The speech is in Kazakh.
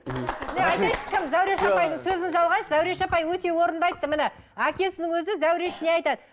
зәуреш апай өте орынды айтты міне әкесінің өзі зәуреш не айтады